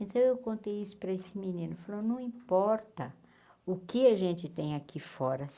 Então eu contei isso para esse menino, falou, não importa o que a gente tem aqui fora.